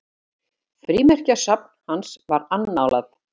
Frímerkjasafn hans var annálað.